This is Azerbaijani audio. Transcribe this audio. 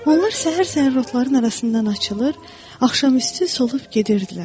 Onlar səhər-səhər rotların arasından açılır, axşamüstü solub gedirdilər.